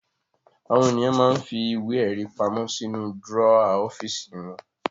Àwọn ènìyàn máa ń fi ìwé-ẹ̀rí pamọ́ sínú dúrọ́à ọ́fíísì wọn.